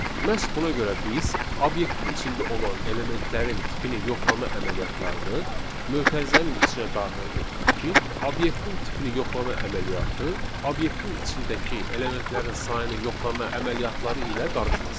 Məhz buna görə biz obyektin içində olan elementlərin tipini yoxlama əməliyyatlarını mötərizənin içinə daxil etdik ki, obyektin tipini yoxlama əməliyyatı obyektin içindəki elementlərin sayının yoxlama əməliyyatları ilə qarışmasın.